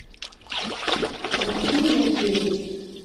василий янкевич